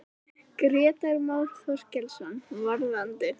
Grétar Már Þorkelsson: Varðandi?